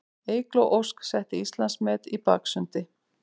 Eygló Ósk setti Íslandsmet í baksundi